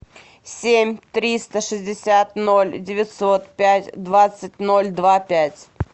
семь триста шестьдесят ноль девятьсот пять двадцать ноль два пять